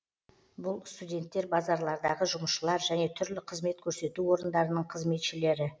бұл студенттер базарлардағы жұмысшылар және түрлі қызмет көрсету орындарының қызметшілері